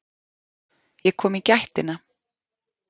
Ég kom í gættina.